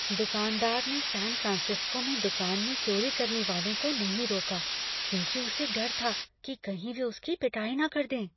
दुकानदार ने San Francisco में दुकान में चोरी करने वालों को नहीं रोका क्योंकि उसे डर था कि कहीं वे उसकी पिटाई न कर दें।